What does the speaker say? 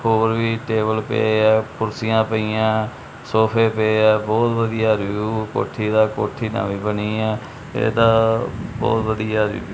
ਹੋਰ ਵੀ ਟੇਬਲ ਪਏ ਐ ਕੁਰਸੀਆਂ ਪਈਆਂ ਸੋਫੇ ਪਏ ਐ ਬਹੁਤ ਵਧੀਆ ਵਿਊ ਕੋਠੀ ਦਾ ਕੋਠੀ ਨਵੀ ਬਣੀ ਐ ਇਹ ਤਾਂ ਬਹੁਤ ਵਧੀਆ--